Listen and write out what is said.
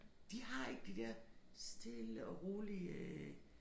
De har ikke de der stille og rolige øh